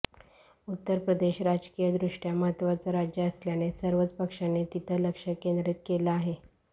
उत्तर प्रदेश राजकीयदृष्ट्या महत्वाचं राज्य असल्यानं सर्वच पक्षांनी तिथं लक्ष केंद्रीत केल आहे